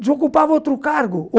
Desocupava outro cargo.